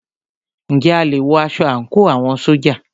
Ǹjẹ́ a lè wọ aṣọ àńkò àwọn ṣójà?